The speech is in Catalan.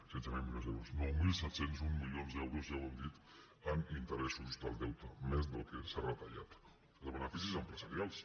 setze mil milions d’euros nou mil set cents i un milions d’euros ja ho hem dit en interessos del deute més del que s’ha retallat de beneficis empresarials